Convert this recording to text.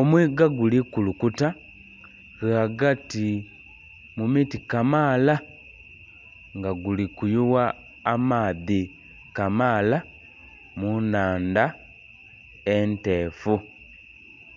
Omwiga guli kulukuta ghagati mu miti kamaala nga guli kuyuwa amaadhi kamaala mu nnhandha enteefu